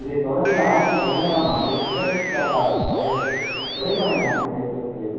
இதைத் தொடர்ந்து ஆயிரத்தி பதினேழாம் ஆண்டு கிழக்கு கேரளாவிற்கு படையெடுத்து குடைமலை நாட்டைக் கைப்பற்றியது